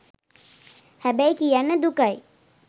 හැබැයි කියන්න දුකයි